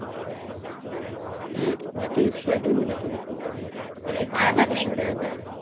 એજ મેં તો એક sweater ભી નથું લીધું અને ઠંડી ઘરે હતા